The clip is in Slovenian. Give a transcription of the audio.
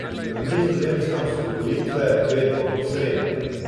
Na Nizozemskem so volitve vedno ob sredah.